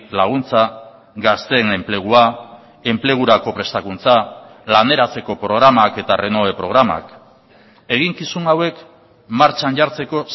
laguntza gazteen enplegua enplegurako prestakuntza laneratzeko programak eta renove programak eginkizun hauek martxan jartzeko